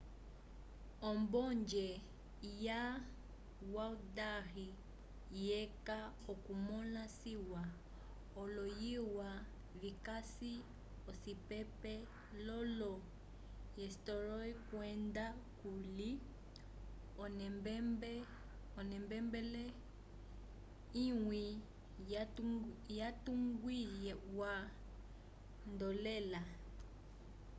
ombonge ya haldarrsvík lyeca okumõla ciwa oloyilya vikasi ocipepi l'olo-eysturoy kwenda kuli onembele imwe yatungiwa nd'elola